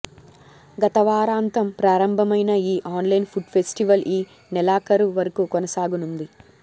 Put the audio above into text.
గతవారాంతం ప్రారంభమైన ఈ online food festival ఈ నెలాఖరు వరకు కొనసాగనుంది